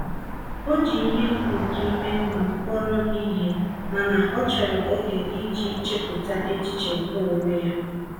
O ji ihe nke ime mmụọ kpọrọ ihe, mana ọ chọrọ oge iji chepụta echiche nke onwe ya.